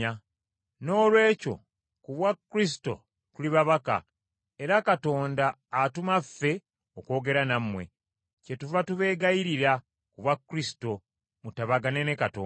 Noolwekyo ku bwa Kristo tuli babaka, era Katonda atuma ffe okwogera nammwe. Kyetuva tubeegayirira, ku bwa Kristo, mutabagane ne Katonda.